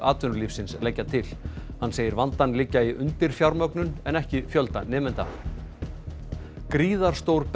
atvinnulífsins leggja til hann segir vandann liggja í undirfjármögnun en ekki fjölda nemenda gríðarstór